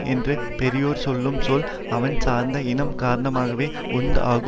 என்று பெரியோர் சொல்லும் சொல் அவன் சார்ந்த இனம் காரணமாகவே உண்தாகும்